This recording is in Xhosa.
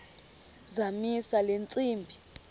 zamisa le ntsimbi